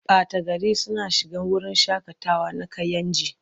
Ɓata gari suna shiga wurin shaƙatawa na Kayenji.